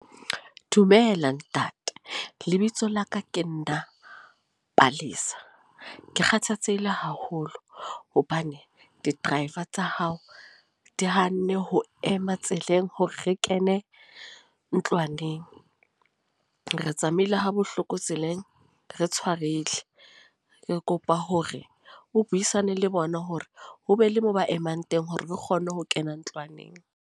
Dumela ntate. Lebitso la ka ke nna Palesa. Ke kgathatsehile haholo, hobane di-driver tsa hao di hanne ho ema tseleng, hore re ke ne eng ntlwaneng. Re tsamaile ha bohloko tseleng, re tshwarehile. Re kopa hore o buisane le bona hore ho be le mo ba emang teng hore re kgone ho kena ntlwaneng.